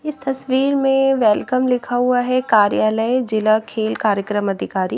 इस तस्वीर में वेलकम लिखा हुआ है कार्यालय जिला खेल कार्यक्रम अधिकारी--